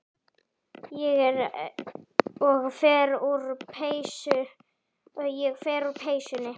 Ég fer úr peysunni.